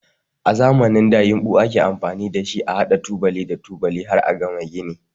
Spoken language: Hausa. A zamanin da yinɓu ake amfani da shi a haɗa tubali da tubali har a gama gini.